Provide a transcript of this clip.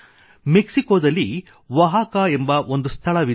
ಮೆಕ್ಸಿಕೊದಲ್ಲಿ ಒಹಾಕಾ ಎಂಬ ಒಂದು ಸ್ಥಳವಿದೆ